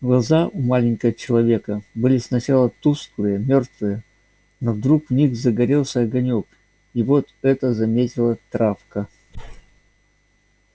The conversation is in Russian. глаза у маленького человека были сначала тусклые мёртвые но вдруг в них загорелся огонёк и вот это заметила травка